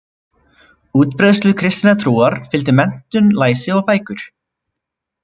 Útbreiðslu kristinnar trúar fylgdi menntun, læsi og bækur.